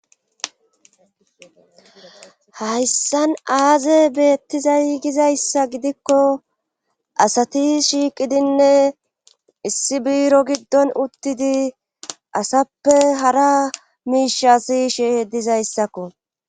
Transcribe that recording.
Hayssan aazef betizay gizaysa gidikko asati shiiqidinne issi biiro gidon uttidi asappe hara miishshas si'ishe dizayssakko.